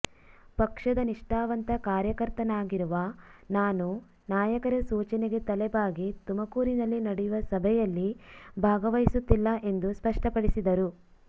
ಪಕ್ಷದ ನಿಷ್ಠಾವಂತ ಕಾರ್ಯಕರ್ತನಾಗಿರುವ ನಾನು ನಾಯಕರ ಸೂಚನೆಗೆ ತಲೆಬಾಗಿ ತುಮಕೂರಿನಲ್ಲಿ ನಡೆಯುವ ಸಭೆಯಲ್ಲಿ ಭಾಗವಹಿಸುತ್ತಿಲ್ಲ ಎಂದು ಸ್ಪಷ್ಟಪಡಿಸಿದರು